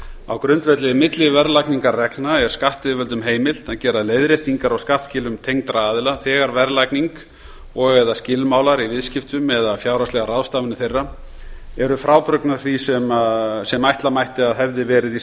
á grundvelli milliverðlagningarreglna er skattyfirvöldum heimilt að gera leiðréttingar á skattskilum tengdra aðila þegar verðlagning og eða skilmálar í viðskiptum eða fjárhagslegar ráðstafanir þeirra eru frábrugðnar því sem ætla mætti að hefði verið í